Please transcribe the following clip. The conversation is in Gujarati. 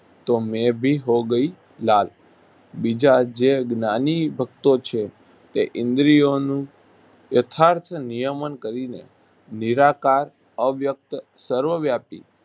તો મે ભી હો ગઈ લાલ બીજા જે જ્ઞાની ભકતો છે તે ઈન્દ્રિયોનું યથાર્થ નિયમન કરીને નિરાકાર, અવ્યક્ત, સર્વવ્યાપી